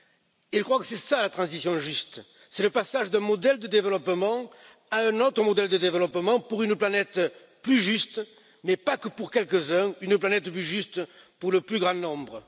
Ils pensent que c'est cela la transition juste, c'est le passage d'un modèle de développement à un autre modèle de développement pour une planète plus juste, mais pas que pour quelques uns, une planète plus juste pour le plus grand nombre.